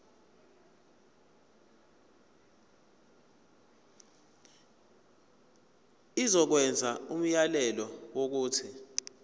izokwenza umyalelo wokuthi